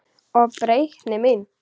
Og breytni mín.